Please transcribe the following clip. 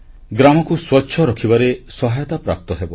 ଗ୍ରାମକୁ ସ୍ୱଚ୍ଛ ରଖିବାରେ ସହାୟତା ପ୍ରାପ୍ତ ହେବ